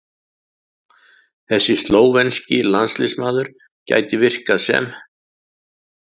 Þessi slóvenski landsliðsmaður gæti virkað sem